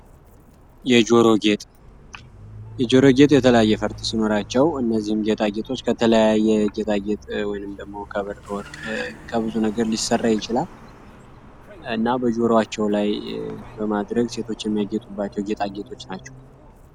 የጆሮ ጌጥ የጆሮ ጌጥ የተለያዩ ፈርጥ ሲኖራቸው እነዚህን ከተለያዩ ጌጣጌጦች ከብር ከወርቅ ከተለያየ ነገር ሊሰራ ይችላል እና በጆሮአቸው ላይ ለማድረግ ሴቶች የሚያጌጡባቸው ጌጣጌጦች ናቸው።